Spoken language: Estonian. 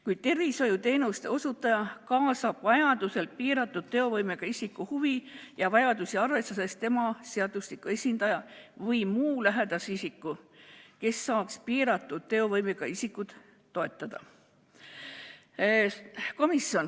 Kuid tervishoiuteenuse osutaja kaasab vajaduse korral piiratud teovõimega isiku huvi ja vajadusi arvestades tema seadusliku esindaja või muu lähedase isiku, kes saaks piiratud teovõimega isikut toetada.